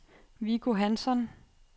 Viggo Hansson